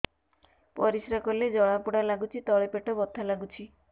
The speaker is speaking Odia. ପରିଶ୍ରା କଲେ ଜଳା ପୋଡା ଲାଗୁଚି ତଳି ପେଟ ବଥା ଲାଗୁଛି